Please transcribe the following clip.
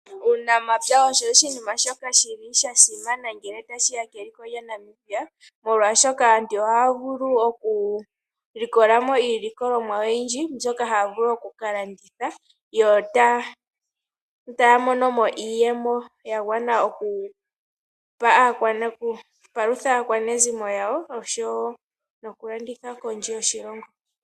Uunamapya osho oshinima shoka shili sha simana ngele tashiya keliko lyaNamibia. Molwaashoka aantu ohaya vulu okulikola mo iilikolomwa oyindji mbyoka haya vulu okukalanditha. Yo taya mono mo iiyemo yagwana okupalutha aakwanezimo yawo. Osho wo nokulanditha kondje yoshilongo.